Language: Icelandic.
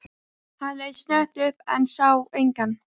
Hann leit snöggt upp, en sá engan.